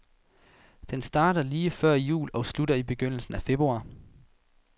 Den starter lige før jul og slutter i begyndelsen af februar.